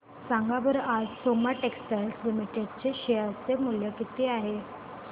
सांगा बरं आज सोमा टेक्सटाइल लिमिटेड चे शेअर चे मूल्य किती आहे